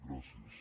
gràcies